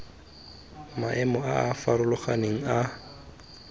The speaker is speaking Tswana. maemo a a farologaneng a